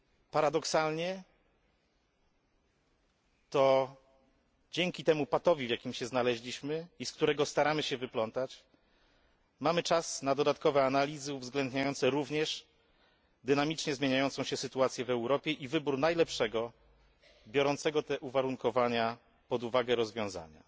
Paradoksalnie to dzięki patowi, w jakim się znaleźliśmy i z którego staramy się wyplątać, mamy czas na dodatkowe analizy, uwzględniające również dynamicznie zmieniającą się sytuację w Europie i wybór najlepszego rozwiązania, biorącego pod uwagę te uwarunkowania.